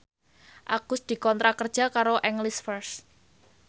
Agus dikontrak kerja karo English First